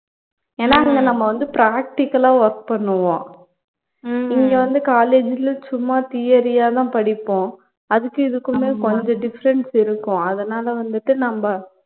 ஏனா நம்ப அங்க வந்து practical ஆ work பண்ணுவோம் இங்க வந்து college ல சும்மா theory ஆதான் படிப்போம் அதுக்கும் இதுக்குமே கொஞ்சம் difference இருக்கும் அதனால வந்துட்டு நம்ப